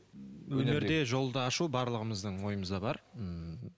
өнерде жолды ашу барлығымыздың ойымызда бар м